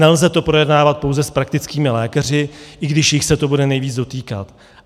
Nelze to projednávat pouze s praktickými lékaři, i když jich se to bude nejvíc dotýkat.